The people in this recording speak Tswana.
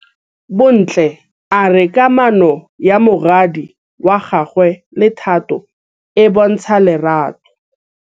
Bontle a re kamanô ya morwadi wa gagwe le Thato e bontsha lerato.